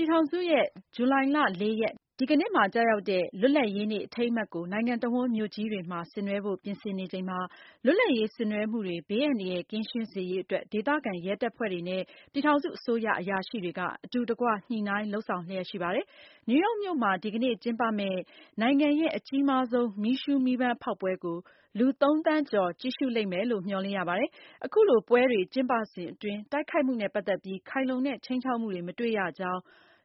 ြည်ထောင်စုရဲ့ ဇူလိုင်လ ၄ ရက်ဒီကနေ့မှာ ကျရောက်တဲ့ လွတ်လပ်ရေးနေ့ အထိမ်းအမှတ်ကို နိုင်ငံတဝှမ်း မြို့ကြီးတွေမှာ ဆင်နွှဲဖို့ ပြင်ဆင်နေချိန်မှာ လွတ်လပ်ရေး ဆင်နွဲှမှုတွေ ဘေးအန္တရာယ် ကင်းရှင်းစေရေးအတွက် ဒေသခံ ရဲတပ်ဖွဲ့တွေနဲ့ ပြည်ထောင်စုအစိုးရ အရာရှိတွေက အတူတကွ ညှိုနှိုင်းလုပ်ဆောင်လျှက်ရှိပါတယ်။ နယူးရောက်မြို့မှာ ဒီကနေ့ ကျင်းပမယ့် နိုင်ငံရဲ့ အကြီးမားဆုံး မီးရှုမီးပန်းဖောက်ပွဲကို လူ ၃ သန်းကျော် ကြည့်ရှုလိမ့်မယ်လို့ မျှော်လင့်ရပါတယ်။ အခုလိုပွဲတွေ ကျင်းပစဉ်အတွင်း တိုက်ခိုက်မှုနဲ့ ပတ်သက်ပြီး ခိုင်လုံတဲ့ ခြိမ်းခြောက်မှုတွေ မတွေ့ရကြောင်း